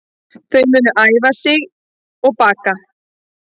Þau munu æfa sig og baka